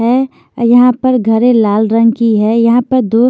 है यहां पर घरे लाल रंग की है यहां पर दो--